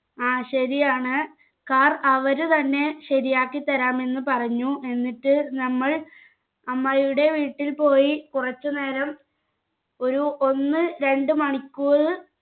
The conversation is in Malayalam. ആ ശരിയാണ് car അവര് തന്നെ ശരിയാക്കിത്തരാമെന്നു പറഞ്ഞു എന്നിട്ട് നമ്മൾ അമ്മായുടെ വീട്ടിൽ പോയി കുറച്ചു നേരം ഒരു ഒന്ന് രണ്ട് മണിക്കൂർ